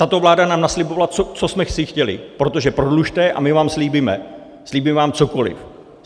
Tato vláda nám naslibovala, co jsme chtěli, protože prodlužte a my vám slíbíme, slíbíme vám cokoliv.